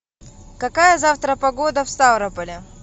какая завтра погода в ставрополе